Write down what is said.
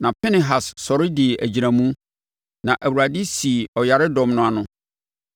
Na Pinehas sɔre dii agyinamu, na Awurade sii ɔyaredɔm no ano.